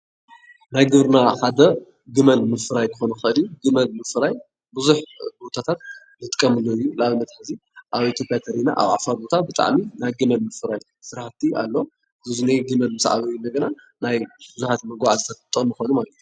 ናይ ግብርና ሓደ ግመል ምፅራይ ኸኾን ይኸእል እዩ፡፡ ግመል ምፅራይ ብዙሕ ቦታታት ክንጥቀመሉ ንኽእል እዩ። ንኣብነት እንተሪእና ኣብ ዓፋር ቦታ ናይ ግመል ምፅራይ ስራሕቲ ኣሎ። እዞም ግመል ምስ ዓበዩ ድማ ንብዙሓት መጓዓዝያታት ክጠቅሙ ይኽእሉ ማለት እዩ፡፡